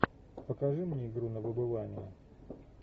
покажи мне игру на выбывание